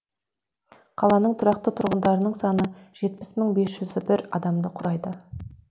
қаланың тұрақты тұрғындарының саны жетпіс мың бес жүз бір адамды құрайды